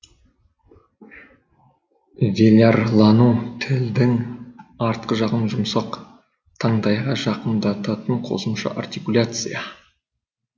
велярлану тілдің артқы жағын жұмсақ тандайға жақындататын қосымша артикуляция